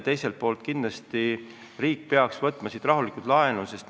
Teiselt poolt kindlasti riik peaks võtma rahulikult laenu.